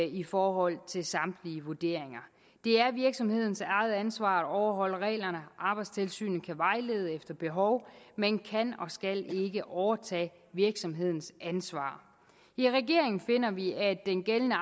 i forhold til samtlige vurderinger det er virksomhedens eget ansvar at overholde reglerne arbejdstilsynet kan vejlede efter behov men kan og skal ikke overtage virksomhedens ansvar i regeringen finder vi at den gældende